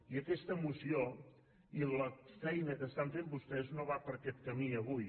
i aquesta moció i la feina que fan vostès no va per aquest camí avui